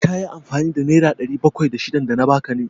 Ka yi amfani da nera ɗari bakwai da shidan da na ba ka ne?